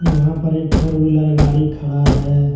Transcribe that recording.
यहाँ पर एक फोर व्हीलर गाड़ी खड़ा है।